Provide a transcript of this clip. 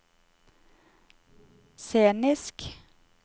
scenisk